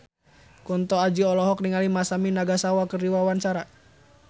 Kunto Aji olohok ningali Masami Nagasawa keur diwawancara